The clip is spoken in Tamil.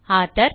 ஆத்தோர்